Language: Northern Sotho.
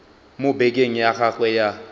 mo bekeng ya gagwe ya